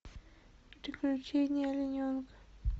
приключения олененка